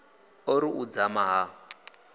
o ri u dzama ha